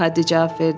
Paddi cavab verdi.